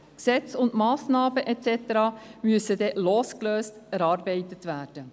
Gesetz und Massnahmen müssen dann losgelöst davon erarbeitet werden.